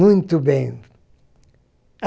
Muito bem.